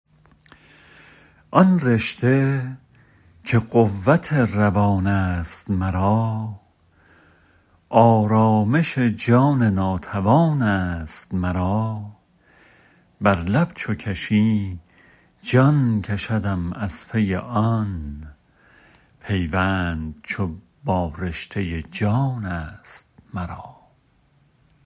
آن رشته که قوت روان ست مرا آرامش جان ناتوان ست مرا بر لب چو کشی جان کشدم از پی آن پیوند چو با رشته جان ست مرا